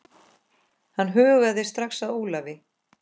Hann hugaði strax að Ólafi.